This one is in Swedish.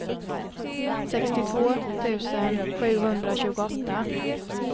sextiotvå tusen sjuhundratjugoåtta